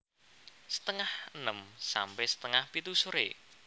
Setengah enem sampe setengah pitu sore